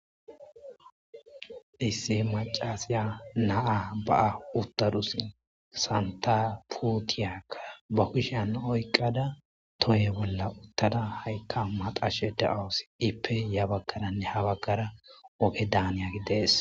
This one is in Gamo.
Issi macaiya na'a ba'a utaduse, Santa puutiyaka ba kushiyan oykada toye bolla utada hayta maxashe de'awusi iipe ya bagaranne ha bagara oge daniyagi Desi.